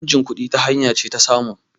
changin kudi ita hanya ce ta samu